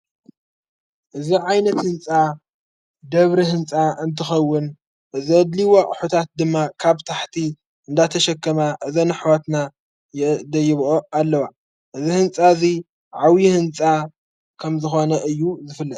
እዚ ዓይነት ሕንጻ ደብሪ ሕንፃ እንትኸውን እዝ ኣድልይዋ ሑታት ድማ ካብ ታሕቲ እንዳተሸከማ እዘንኅዋትና ደይብኦ ኣለዋ እዝ ሕንፃ እዙይ ዓውዪ ሕንጻ ከም ዝኾነ እዩ ዝፍለጥ ::